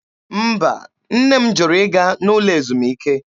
Mba, nne m jụrụ ịga n'ụlọ ezumike.